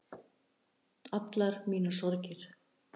Allar mínar sorgirnar